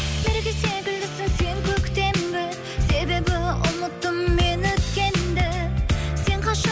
мереке секілдісің сен көктемгі себебі ұмыттым мен өткенді сен